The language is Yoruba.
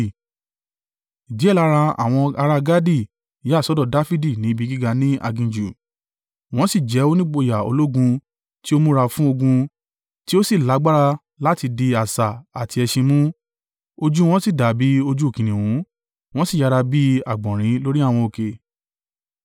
Díẹ̀ lára àwọn ará Gadi yà sọ́dọ̀ Dafidi ní ibi gíga ní aginjù. Wọ́n sì jẹ́ onígboyà ológun tí ó múra fún ogun tí ó sì lágbára láti di asà àti ẹṣin mú. Ojú wọn sì dàbí ojú kìnnìún, wọ́n sì yára bí àgbọ̀nrín lórí àwọn òkè.